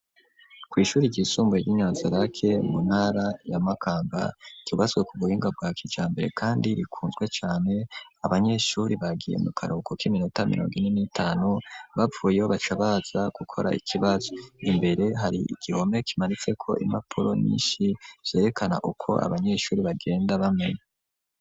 Kw'ishuri ryisumbuye, ry'i Nyanzarake, mu ntara ya Makamba, ryubatswe ku buhinga, bwa kijambere, kandi rikunzwe cane; abanyeshuri, bagiye mu karuhuko, k'iminota mirongo ine, n'itanu, bavuyeyo, baca baza, gukora ikibazo; imbere, hari igihome, kimaritseko impapuro nyinshi, zerekana uko, abanyeshuri, bagenda bamenya.